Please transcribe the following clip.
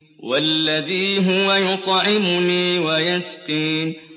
وَالَّذِي هُوَ يُطْعِمُنِي وَيَسْقِينِ